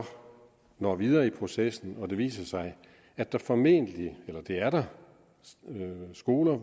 når videre i processen og det viser sig at der formentlig eller det er der er skoler